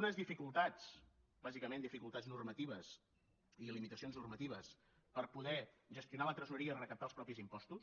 unes dificultats bàsicament dificultats normatives i limitacions normatives per poder gestionar la tresoreria i recaptar els propis impostos